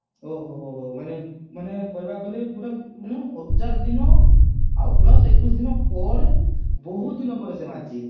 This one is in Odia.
ଓହୋହୋ ମାନେ ମାନେ କହିବାକୁ ଗଲେ ମାନେ ପୁରା ହଜାର ଦିନ plus ଏକୋଇଶି ଦିନ ପରେ ବହୁତ ଦିନ ପରେ ସିଏ ମରିଛି